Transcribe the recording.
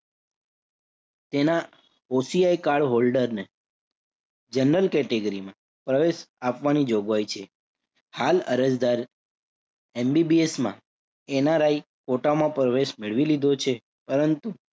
તેના OCI cardholder ને general category માં પ્રવેશ આપવાની જોગવાઈ છે. હાલ અરજદાર MBBS માં NRI quota માં પ્રવેશ મેળવી લીધો છે. પરંતુ